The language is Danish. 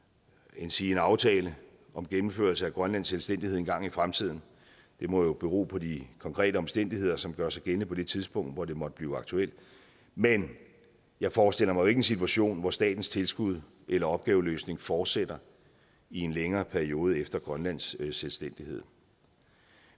endsige en aftale om gennemførelse af grønlands selvstændighed engang i fremtiden det må bero på de konkrete omstændigheder som gør sig gældende på det tidspunkt hvor det måtte blive aktuelt men jeg forestiller mig ikke en situation hvor statens tilskud eller opgaveløsning fortsætter i en længere periode efter grønlands selvstændighed